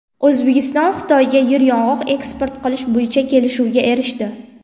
O‘zbekiston Xitoyga yeryong‘oq eksport qilish bo‘yicha kelishuvga erishdi.